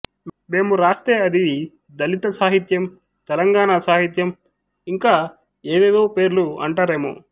మేము రాస్తే అది దళిత సాహిత్యం తెలంగాణ సాహిత్యం ఇంకా ఏవేవో పేర్లు అంటారామె